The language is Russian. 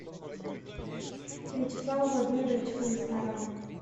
вячеслава владимировича комиссарова